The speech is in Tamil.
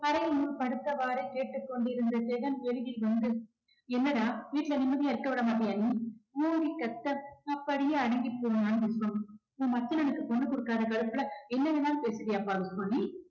அறையுனுள் படுத்தவாறே கேட்டுக் கொண்டிருந்த ஜெகன் வெளியில் வந்து, என்னடா வீட்ல நிம்மதியா இருக்க விட மாட்டியா நீ ஓங்கி கத்த அப்படியே அடங்கிப் போனான் விஸ்வம் உன் மச்சானுக்கு பொண்ணு கொடுக்காத கடுப்புல என்ன வேணாலும் பேசுவியாபா விஸ்வம் நீ